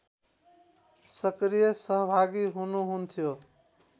सक्रिय सहभागी हुनुहुन्थ्यो